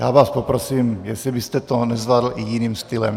Já vás poprosím, jestli byste to nezvládl i jiným stylem.